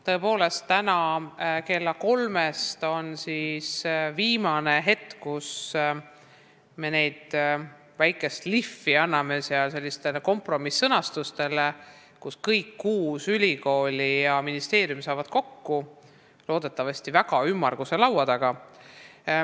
Tõepoolest, täna kell kolm algab viimase väikese lihvi andmine kompromiss-sõnastustele, sest kõik kuus ülikooli ja ministeerium saavad loodetavasti väga ümmarguse laua taga kokku.